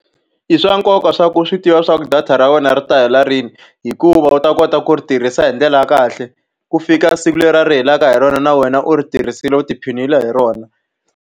I swa nkoka leswaku swi tiva leswaku data ra wena ri ta hela rini, hikuva u ta kota ku ri tirhisa hi ndlela ya kahle. Ku fika siku leriya ri helaka hi rona na wena u ri tirhisile, u tiphinile hi rona.